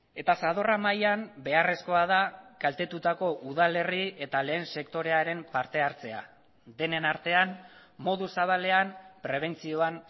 eta zadorra mailan beharrezkoa da kaltetutako udal herri eta lehen sektorearen partehartzea denen artean modu zabalean prebentzioan